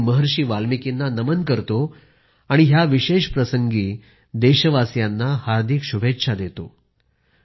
मी महर्षी वाल्मिकींना नमन करतो आणि ह्या विशेष प्रसंगी देशवासियांना हार्दिक शुभेच्छा देतो